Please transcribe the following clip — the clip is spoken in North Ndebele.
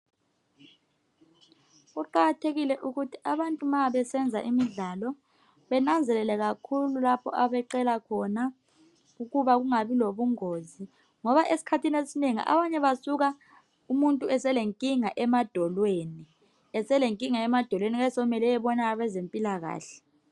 Kuqakathekile ukuthi abantu ma besenza imidlalo benanzelele kakhulu lapho abeqela khona ukuba kungabi lobungozi. Ngoba esikhathini esinengi abantu basuka umuntu eselenkinga emadolweni. Eselenkinga emadolweni kuyabe sokumele ayebona abezempilakahle.